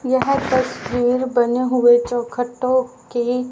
यह तस्वीर बने हुए चौखटों की--